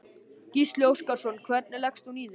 Gísli Óskarsson: Hvernig leggst hún í þig?